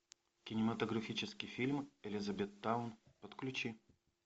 кинематографический фильм элизабеттаун подключи